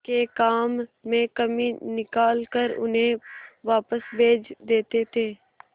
के काम में कमी निकाल कर उन्हें वापस भेज देते थे